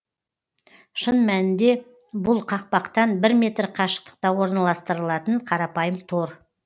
шын мәнінде бұл қақпақтан бір метр қашықтықта орналастырылатын қарапайым тор